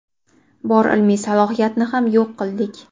Bor ilmiy salohiyatni ham yo‘q qildik.